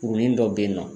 Kurunin dɔ bɛ yen nɔ